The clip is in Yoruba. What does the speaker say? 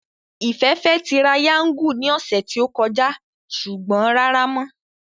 Ìfẹ́ fẹ́ tirayáńgù ní ọ̀sẹ̀ tí ó kọjá ṣùgbọ́n rárá mọ́